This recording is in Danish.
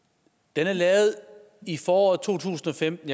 den er lavet i foråret to tusind og femten